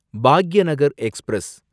Bhagyanagar express